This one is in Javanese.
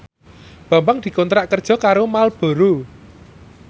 Bambang dikontrak kerja karo Marlboro